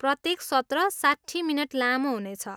प्रत्येक सत्र साट्ठी मिनट लामो हुनेछ।